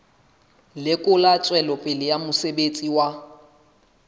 lekola tswelopele ya mosebetsi wa